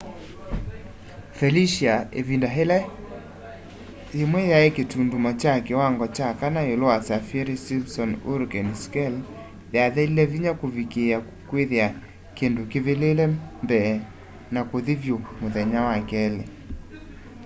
felicia ivinda ila ivinda yimwe yai kitundumo kya kiwangoo kya 4 iulu wa saffir-simpson hurricane scale yathelile vinya kuvikiia kwithia kindu kivivile mbee wa kuthi vyu muthenya wa keli